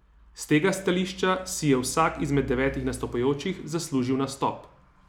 S tega stališča si je vsak izmed devetih nastopajočih zaslužil nastop.